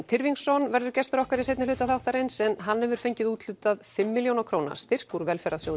Tyrfingsson verður gestur okkar í seinni hluta þáttarins en hann hefur fengið úthlutað fimm milljóna króna styrk úr